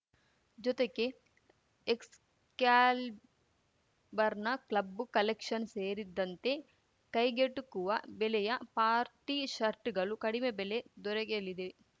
ಜೊತೆಗೆ ಎಕ್ಸ್‌ಕ್ಯಾಲ್ ಬರ್‌ನ ಕ್ಲಬ್ಬು ಕಲೆಕ್ಷನ್‌ ಸೇರಿದಂತೆ ಕೈಗೆಟುಕುವ ಬೆಲೆಯ ಪಾರ್ಟಿ ಶರ್ಟ್‌ಗಳು ಕಡಿಮೆ ಬೆಲೆ ದೊರೆಗೆಲಿದೆ